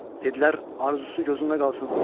Dedlər, arzusu gözündə qalsın.